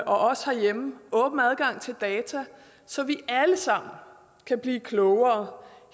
også herhjemme og åben adgang til data så vi alle sammen kan blive klogere